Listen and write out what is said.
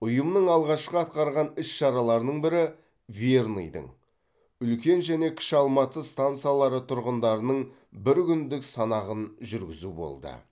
ұйымның алғашқы атқарған іс шараларының бірі верныйдың үлкен және кіші алматы стансалары тұрғындарының бір күндік санағын жүргізу болды